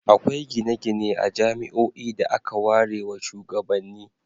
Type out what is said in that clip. Akwai gine-gine a jami'oi da aka warewa shugabanni.